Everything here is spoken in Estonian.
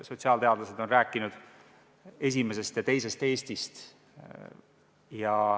Sotsiaalteadlased on rääkinud esimesest ja teisest Eestist.